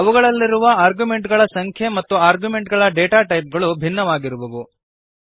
ಅವುಗಳಲ್ಲಿರುವ ಆರ್ಗ್ಯುಮೆಂಟುಗಳ ಸಂಖ್ಯೆ ಮತ್ತು ಆರ್ಗ್ಯುಮೆಂಟುಗಳ ಡೇಟಾ ಟೈಪ್ ಗಳು ಭಿನ್ನವಾಗಿರುವವು